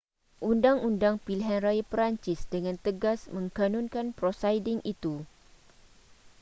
undang-undang pilihan raya perancis dengan tegas mengkanunkan prosiding itu